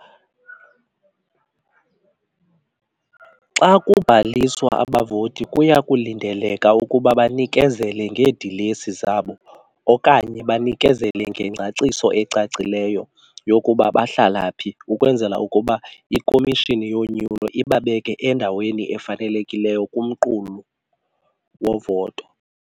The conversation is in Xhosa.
Xa kubhaliswa, abavoti kuyakulindeleka ukuba banikezele ngeedilesi zabo okanye banikezele ngengcaciso ecacileyo yokuba bahlala phi ukwenzela ukuba iKhomishini yoNyulo ibabeke endaweni efanelekileyo kumqulu wovoto.